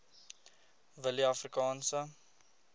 willieafrikaanse